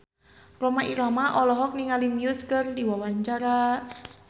Rhoma Irama olohok ningali Muse keur diwawancara